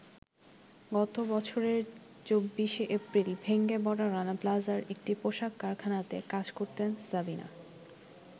গত বছরের ২৪শে এপ্রিল ভেঙে পড়া রানা প্লাজার একটি পোশাক কারখানাতে কাজ করতেন সাবিনা।